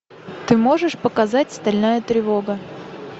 ты можешь показать стальная тревога